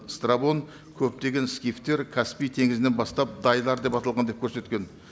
страбон көптеген скифтер каспий теңізінен бастап дайлар деп аталған деп көрсеткен